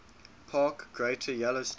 park greater yellowstone